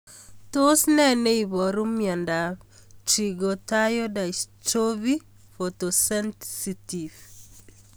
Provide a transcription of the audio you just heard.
Tos nee neiparu miondop Trichothiodystrophy photosensitive?